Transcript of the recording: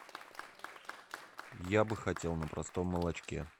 я бы хотел на простом молочке